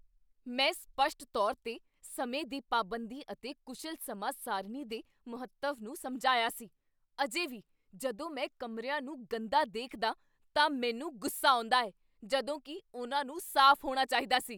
ਮੈਂ ਸਪੱਸ਼ਟ ਤੌਰ 'ਤੇ ਸਮੇਂ ਦੀ ਪਾਬੰਦੀ ਅਤੇ ਕੁਸ਼ਲ ਸਮਾਂ ਸਾਰਣੀ ਦੇ ਮਹੱਤਵ ਨੂੰ ਸਮਝਾਇਆ ਸੀ, ਅਜੇ ਵੀ ਜਦੋਂ ਮੈਂ ਕਮਰਿਆਂ ਨੂੰਗੰਦਾ ਦੇਖਦਾ ਤਾਂ ਮੈਨੂੰ ਗੁੱਸਾ ਆਉਂਦਾ ਹੈ ਜਦੋਂ ਕੀ ਉਨ੍ਹਾਂ ਨੂੰ ਸਾਫ਼ ਹੋਣਾ ਚਾਹੀਦਾ ਸੀ!